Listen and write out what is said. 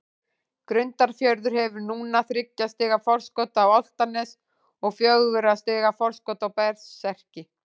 Grundarfjörður hefur núna þriggja stiga forskot á Álftanes og fjögurra stiga forskot á Berserki.